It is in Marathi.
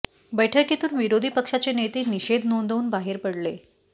बैठकीतून विरोधी पक्षाचे नेते निषेध नोंदवून बाहेर पडले